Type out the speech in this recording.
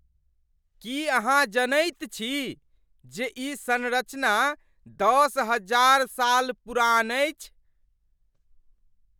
की अहाँ जनैत छी जे ई संरचना दश हजार साल पुरान अछि?